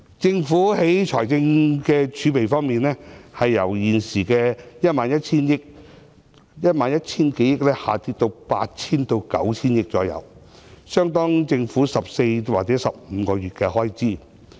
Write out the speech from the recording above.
政府的財政儲備由現時約 11,000 億元下跌至約 8,000 億元至 9,000 億元，相當於政府14或15個月的開支。